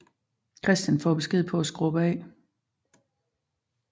Christian får besked på at skrubbe af